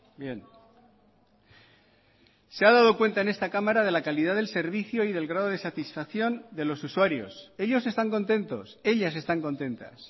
bien se ha dado cuenta en esta cámara de la calidad del servicio y del grado de satisfacción de los usuarios ellos están contentos ellas están contentas